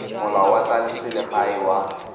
molao wa tsa selegae wa